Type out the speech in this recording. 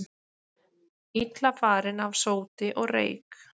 Illa farin af sóti og reyk